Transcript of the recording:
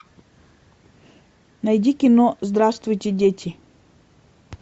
найди кино здравствуйте дети